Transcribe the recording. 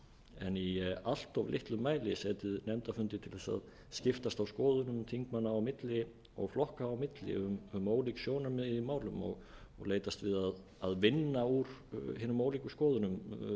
en í allt of litlum mæli setið nefndafundi til að skiptast á skoðunum þingmanna á milli og flokka á milli um ólík sjónarmið í málum og leitast við að vinna úr hinum ólíkum skoðunum